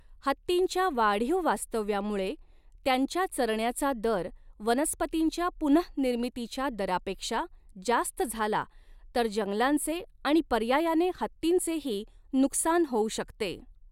हत्तींच्या वाढीव वास्तव्यामुळे त्यांच्या चरण्याचा दर वनस्पतींच्या पुनःनिर्मितीच्या दरापेक्षा जास्त झाला तर जंगलांचे आणि पर्यायाने हत्तींचेही नुकसान होऊ शकते.